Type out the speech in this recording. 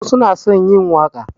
Wasu na son yi waƙa